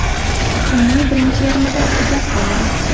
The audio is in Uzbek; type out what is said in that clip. Kunning birinchi yarmida tugab qoladi.